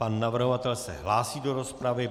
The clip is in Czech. Pan navrhovatel se hlásí do rozpravy.